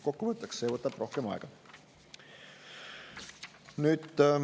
Kokkuvõttes see võtab rohkem aega.